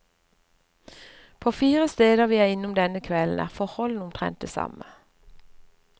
På fire steder vi er innom denne kvelden er forholdene omtrent de samme.